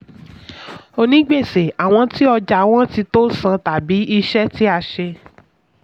onígbèsè: àwọn tí ọjà wọn tí tó san tàbí iṣẹ́ tí a ṣe.